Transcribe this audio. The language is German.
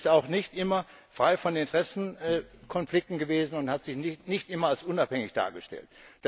Und sie ist auch nicht immer frei von Interessenkonflikten gewesen und hat sich nicht immer als unabhängig dargestellt.